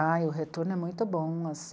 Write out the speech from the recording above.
Ah, o retorno é muito bom.